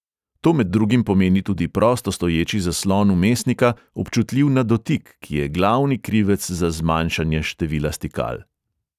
To med drugim pomeni tudi prosto stoječi zaslon vmesnika, občutljiv na dotik, ki je glavni krivec za zmanjšanje števila stikal.